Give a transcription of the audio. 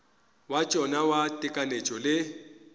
wa tšona wa tekanyetšo le